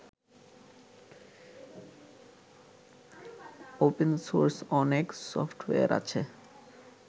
Open source অনেক software আছে।